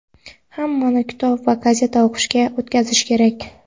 hammani kitob va gazeta o‘qishga o‘tkazish kerak.